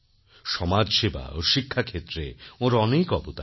সমাজসেবা ও শিক্ষাক্ষেত্রে ওঁর অনেক অবদান